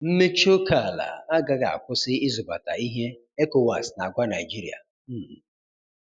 Mmechi oke ala agaghị akwụsi ịzụbata ihe, ECOWAS na-agwa Naịjirịa. um